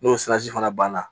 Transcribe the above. N'o fana banna